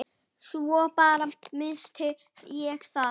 Svo bara. missti ég það.